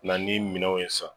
Na ni minɛw ye sisan